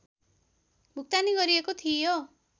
भुक्तानी गरिएको थियो